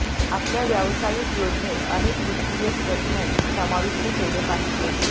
आपल्या व्यावसायिक योजनेत अनेक वित्तीय स्टेटमेन्ट समाविष्ट केले पाहिजेत